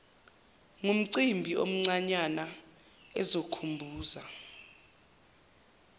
ngumcimbi omncanyana ozokhumbuza